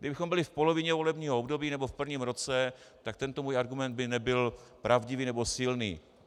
Kdybychom byli v polovině volebního období, nebo v prvním roce, tak tento můj argument by nebyl pravdivý nebo silný.